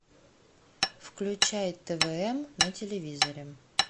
включай твн на телевизоре